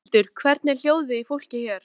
Berghildur: Hvernig er hljóðið í fólki hér?